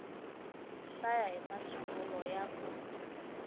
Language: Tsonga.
hlaya i masungulo ya ku